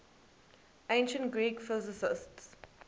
ancient greek physicists